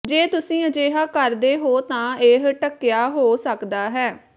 ਜੇ ਤੁਸੀਂ ਅਜਿਹਾ ਕਰਦੇ ਹੋ ਤਾਂ ਇਹ ਢੱਕਿਆ ਹੋ ਸਕਦਾ ਹੈ